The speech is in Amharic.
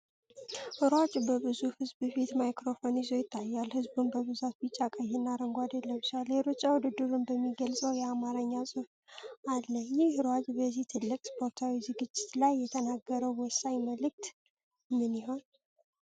ሯጩ በብዙሕ ሕዝብ ፊት ማይክሮፎን ይዞ ይታያል፤ ሕዝቡም በብዛት ቢጫ፣ ቀይና አረንጓዴ ለብሷል። የሩጫ ውድድሩን የሚገልጸው የአማርኛ ጽሑፍ አለ። ይህ ሯጭ በዚህ ትልቅ ስፖርታዊ ዝግጅት ላይ የተናገረው ወሳኝ መልእክት ምን ይሆን?